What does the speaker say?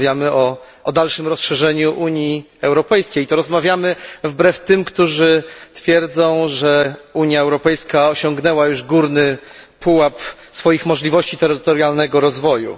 Rozmawiamy o dalszym rozszerzeniu Unii Europejskiej i to rozmawiamy wbrew tym, którzy twierdzą, że Unia Europejska osiągnęła już górny pułap swoich możliwości terytorialnego rozwoju.